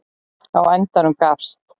Á endanum gafst